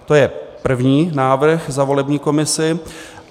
To je první návrh za volební komisi.